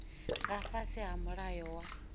nga fhasi ha mulayo wa